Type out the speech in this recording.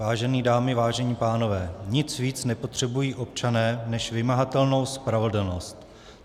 Vážené dámy, vážení pánové, nic víc nepotřebují občané než vymahatelnou spravedlnost.